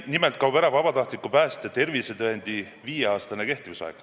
Nimelt kaob ära vabatahtliku päästja tervisetõendi viieaastane kehtivusaeg.